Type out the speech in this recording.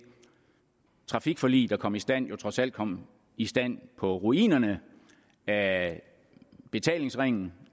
trafikforlig der kom i stand jo trods alt kom i stand på ruinerne af betalingsringen